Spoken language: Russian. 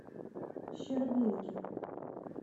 щербинке